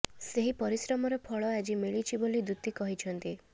ସେହି ପରିଶ୍ରମର ଫଳ ଆଜି ମିଳିଛି ବୋଲି ଦୂତି କହିଛନ୍ତି